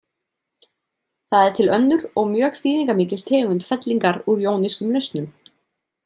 Það er til önnur og mjög þýðingarmikil tegund fellingar úr jónískum lausnum.